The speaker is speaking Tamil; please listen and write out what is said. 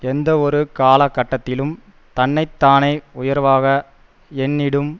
எந்தவொரு காலகட்டத்திலும் தன்னை தானே உயர்வாக எண்ணிடும்